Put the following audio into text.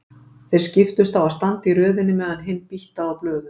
Þeir skiptust á að standa í röðinni meðan hinn býttaði á blöðum.